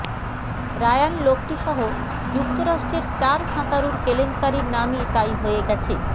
Ryan লোক্টিসহ যুক্তরাষ্ট্রের চার সাঁতারুর কেলেঙ্কারির নামই তাই হয়ে গেছে